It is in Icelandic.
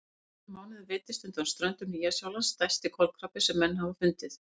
Fyrir nokkrum mánuðum veiddist undan ströndum Nýja-Sjálands stærsti kolkrabbi sem menn hafa fundið.